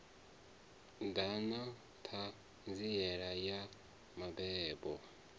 ḓa na ṱhanziela ya mabebo